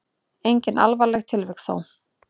Engin alvarleg tilvik þó.